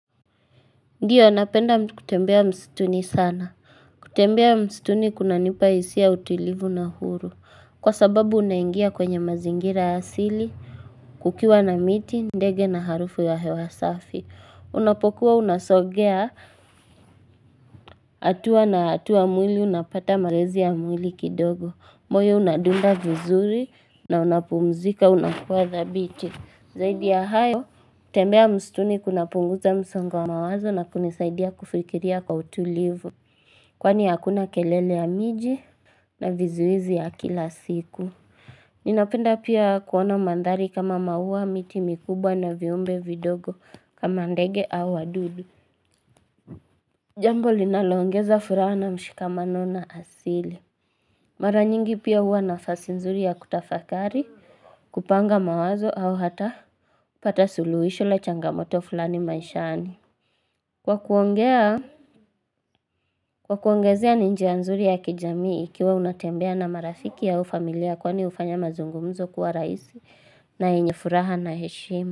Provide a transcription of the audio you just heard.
Ndio napenda kutembea msituni sana kutembea msituni kuna nipa hisia utulivu na huru kwa sababu unaingia kwenye mazingira asili kukiwa na miti ndege na harufu ya hewasafi unapokuwa unasogea hatua na hatua mwili unapata mazoezi ya mwili kidogo moyo unadunda vizuri na unapumzika unakuwa dhabithi zaidi ya hayo tembea msituni kuna punguza msongo wa mawazo na kunisaidia kufikiria kwa utulivu Kwani hakuna kelele ya miji na vizuizi ya kila siku Ninapenda pia kuona mandhari kama maua miti mikubwa na viumbe vidogo kama ndege au wadudu Jambo linaloongeza furaha na mshikamano na asili Maranyingi pia huwa nafasi nzuri ya kutafakari kupanga mawazo au hata pata suluhisho la changamoto fulani maishani Kwa kuongezea ni njia nzuri ya kijamii ikiwa unatembea na marafiki au familia kwani hufanya mazungumzo kuwa rahisi na yenye furaha na heshima.